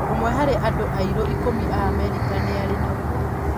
Ũmwe harĩ andũ airũ ikũmi a Amerika nĩarĩ naguo.